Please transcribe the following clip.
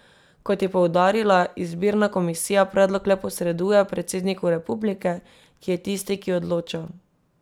Kot je poudarila, izbirna komisija predlog le posreduje predsedniku republike, ki je tisti, ki odloča.